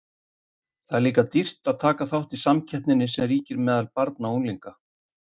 Það er líka dýrt að taka þátt í samkeppninni sem ríkir meðal barna og unglinga.